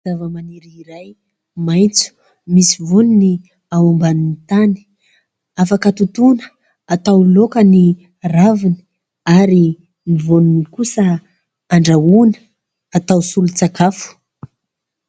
Zavamaniry iray maitso, misy vaoniny ao ambanin'ny tany. Afaka totoina atao laoka ny raviny ary ny vaoniny kosa andrahoina atao solon-tsakafo.